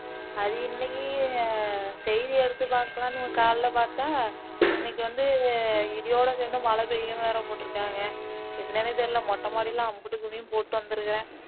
அது இன்னைக்கு செய்தி எடுத்து பாக்கலாம்னு காலையில பாத்தா இன்னைக்கு வந்து இடியோட சேந்த மழை பெய்யும்னு வேற போட்டுருக்காங்க என்ன்னனு தெரியல மொட்ட மாடியில அம்புட்டு துணியும் போட்டு வந்துருக்கேன்